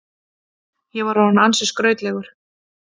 Ég var orðinn ansi skrautlegur.